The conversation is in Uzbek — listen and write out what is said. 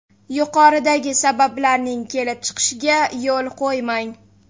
Yuqoridagi sabablarning kelib chiqishiga yo‘l qo‘ymang.